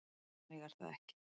Þannig er það ekki.